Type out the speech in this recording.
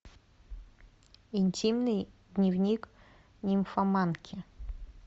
интимный дневник нимфоманки